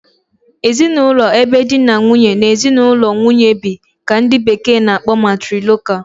Ezinụlọ ebe di na nwunye na ezinụlọ nwunye bi ka ndị bekee na- akpọ 'Matrilocal'